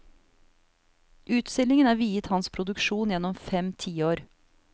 Utstillingen er viet hans produksjon gjennom fem tiår.